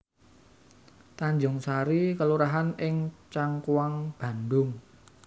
Tanjungsari kelurahan ing Cangkuang Bandhung